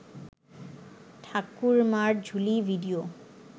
Thakurmar Jhuli video